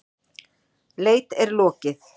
Leit er lokið.